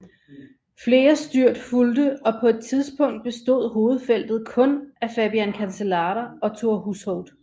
Flere styrt fulgte og på et tidspunkt bestod hovedfeltet kun af Fabian Cancellara og Thor Hushovd